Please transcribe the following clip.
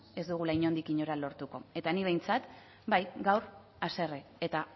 ez dugula inondik inora lortuko eta ni behintzat bai gaur haserre eta